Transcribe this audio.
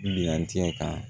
Minan cɛ ka